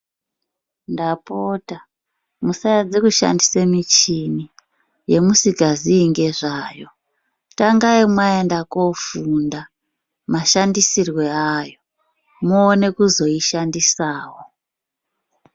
Ndapota musaedze kushandisa michini yemusikazii ngezvayo, tangai mwaenda koofunda mashandisirwe ayo moone kuzoishandisawo.